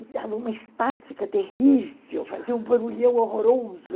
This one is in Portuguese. E dava uma estática terrível, fazia um barulhão horroroso.